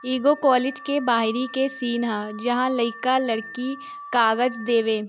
एगो कॉलेज के बाहरी के सीन हअ जहां लइका लड़की कागज देवे --